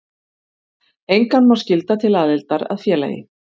Engan má skylda til aðildar að félagi.